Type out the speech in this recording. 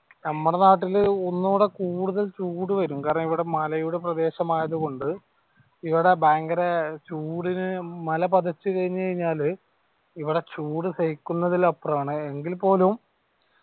നമ്മളെ നാട്ടിൽ ഒന്നൂടെ കൂടുതൽ ചൂട് വരൂo കാരണം ഇവിടെ മലയുടെ പ്രദേശം ആയതുകൊണ്ട് ഇവിടെ ഭയങ്കര ചൂടിന് മല പതച്ച് കൈഞ്ഞാല് ഇവിടെ ചൂട് സഹിക്കുന്നതിലും അപ്പറം ആണ് എങ്കിൽ പോലും